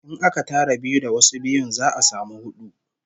In aka tara biyu da wasu biyun, za'a samu hudu